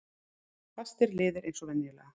Fastir liðir eins og venjulega.